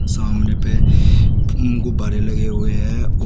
सामने पे गुब्बारे लगे हुए हैं और--